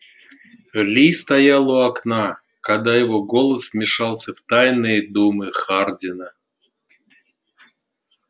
ли стоял у окна когда его голос вмешался в тайные думы хардина